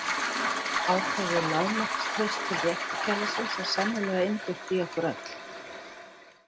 Ákveðið lágmarkstraust til réttarkerfisins er sennilega innbyggt í okkur öll.